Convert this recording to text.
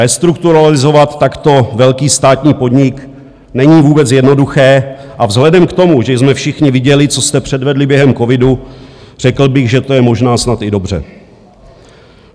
Restrukturalizovat takto velký státní podnik není vůbec jednoduché a vzhledem k tomu, že jsme všichni viděli, co jste předvedli během covidu, řekl bych, že to je možná snad i dobře.